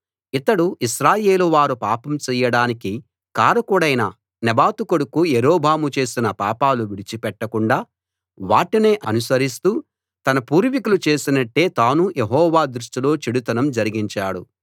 ఇతడు ఇశ్రాయేలు వారు పాపం చెయ్యడానికి కారకుడైన నెబాతు కొడుకు యరొబాము చేసిన పాపాలు విడిచిపెట్టకుండా వాటినే అనుసరిస్తూ తన పూర్వికులు చేసినట్టే తానూ యెహోవా దృష్టిలో చెడుతనం జరిగించాడు